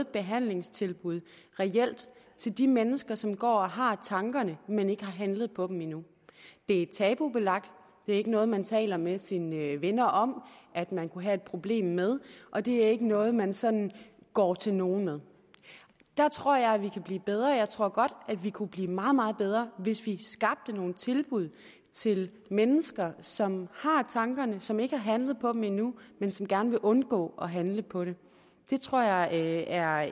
behandlingstilbud til de mennesker som går og har tankerne men som ikke har handlet på dem endnu det er tabubelagt det er ikke noget man taler med sine venner om at man kunne have et problem med og det er ikke noget man sådan går til nogen med der tror jeg vi kan blive bedre jeg tror godt at vi kunne blive meget meget bedre hvis vi skabte nogle tilbud til mennesker som har tankerne og som ikke har handlet på dem endnu men som gerne vil undgå at handle på dem det tror jeg er